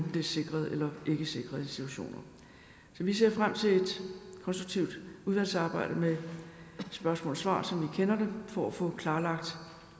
det er sikrede eller ikkesikrede institutioner så vi ser frem til et konstruktivt udvalgsarbejde med spørgsmål og svar som vi kender det for at få klarlagt